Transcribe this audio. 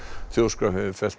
þjóðskrá hefur fellt